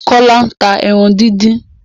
Kọ́lá ta ẹran díndín.